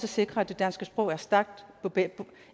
vi sikre at det danske sprog er stærkt